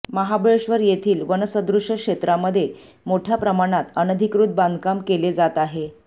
महाबळेश्वर येथील वनसदृश्य क्षेत्रामध्ये मोठ्या प्रमाणात अनधिकृत बांधकाम केले जात आहे